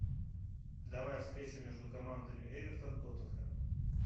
давай встречу между командами эвертон тоттенхэм